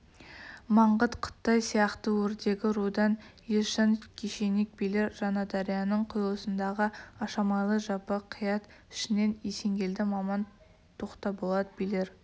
маңғыт қытай сияқты өрдегі рудан есжан кешенек билер жаңадарияның құйылысындағы ашамайлы жабы қият ішінен есенгелді маман тоқтаболат билер